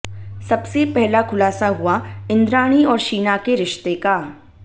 सबसे पहला खुलासा हुआ इंद्राणी और शीना के रिश्ते का